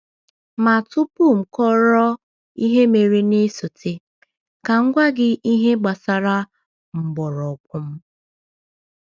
.Ma tupu m kọọrọ ihe mere na-esote, ka m gwa gị ihe gbasara mgbọrọgwụ m.